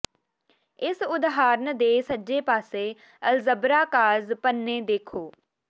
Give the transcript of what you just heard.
ਇਸ ਉਦਾਹਰਨ ਦੇ ਸੱਜੇ ਪਾਸੇ ਅਲਜਬਰਾ ਕਾਰਜ ਪੰਨੇ ਦੇਖੋ